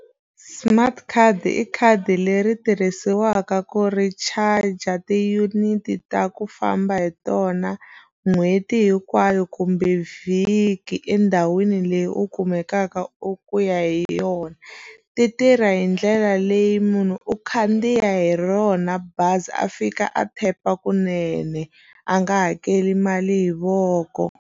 Smart card i khadi leri tirhisiwaka ku recharger ti-unite ta ku famba hi tona n'hweti hinkwayo kumbe vhiki endhawini leyi u kumakaka u ku ya hi yona ti tirha hi ndlela leyi munhu u khandziya hi rona bazi a fika a tap-a kunene a nga hakeli mali hi voko.